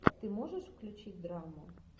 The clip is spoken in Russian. ты можешь включить драму